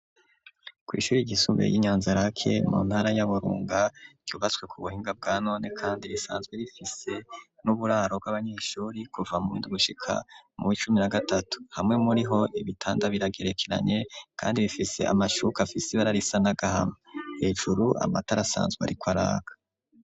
Kwi'ishuri ishuri ryisumbuye ryi Nyanzarake mu ntara ya Burunga ryubatswe ku buhinga bwanone kandi risanzwe rifise n'uburaro bw'abanyeshuri kuva mu indugushika mu icumi na gatatu hamwe muri ho ibitanda biragerekeranye kandi bifise amashuka fisib ararisa nagahama hejuru amatara sanzwe ariko araka.